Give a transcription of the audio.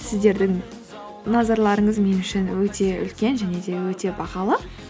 сіздердің назарларыңыз мен үшін өте үлкен және де өте бағалы